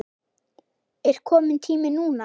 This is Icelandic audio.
Er kominn tími núna?